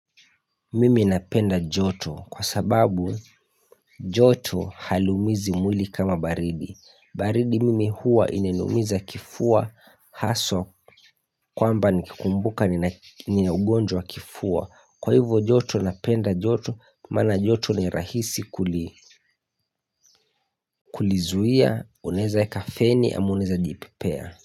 Mimi napenda joto kwa sababu joto haliumizi mwili kama baridi baridi mimi huwa inaniumiza kifua haswa kwamba nikikumbuka ninaugonjwa wa kifua Kwa hivyo joto napenda joto maana joto ni rahisi kulizuia unaeza wekafeni ama unaeza jipripea.